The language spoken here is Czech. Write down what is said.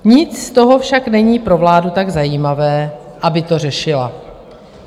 Nic z toho však není pro vládu tak zajímavé, aby to řešila.